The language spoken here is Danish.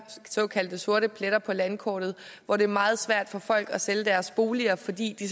såkaldte sorte pletter på landkortet hvor det er meget svært for folk at sælge deres boliger fordi de